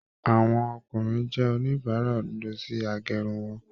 Àwọn ọkùnrin jẹ oníbàrá òdodo si agérun won